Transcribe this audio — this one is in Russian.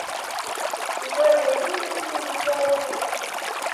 джой найди мне фильм смолфут